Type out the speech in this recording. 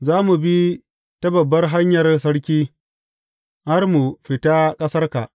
Za mu bi ta babbar hanyar sarki, har mu fita ƙasarka.